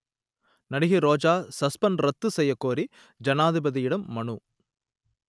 நடிகை ரோஜா சஸ்பெண்ட் ரத்து செய்யக்கோரி ஜனாதிபதியிடம் மனு